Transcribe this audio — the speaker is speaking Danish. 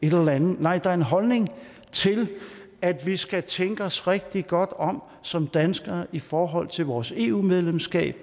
et eller andet nej der er en holdning til at vi skal tænke os rigtig godt om som danskere i forhold til vores eu medlemskab